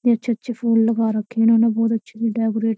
अच्छे-अच्छे फूल लगा रखे हैं इन्होंने बहुत अच्छे से डेकोरेट --